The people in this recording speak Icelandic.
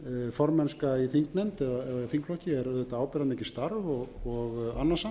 formennska í þingnefnd eða þingflokki er auðvitað ábyrgðarmikið starf og annasamt